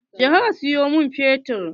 Je ka siyo min fetur!